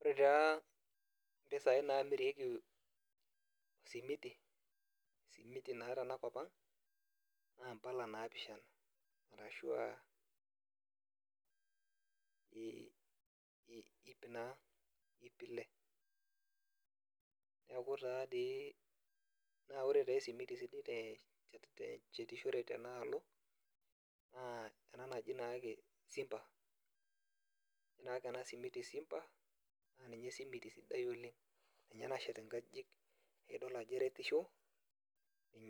Ore tee mpisai naamiti esimiti naa tenakop ang naa mpalai naapishana. ashua iip ile. neeku taa ore esimiti sidai teshetishore tenalo naa enaa naakesi naji naa Simba. ore naake ena simiti Simba naa ninye esimiti sidai olengninye nashet inkajijik naa idol ajo eretisho